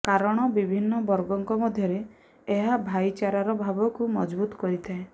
କାରଣ ବିଭିନ୍ନ ବର୍ଗଙ୍କ ମଧ୍ୟରେ ଏହା ଭାଈଚାରାର ଭାବକୁ ମଜଭୂତ କରିଥାଏ